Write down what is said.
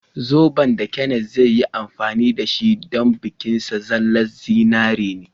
Zoben da Kenneth zai yi amfani da shi don bikin aurensa zallan zinari ne.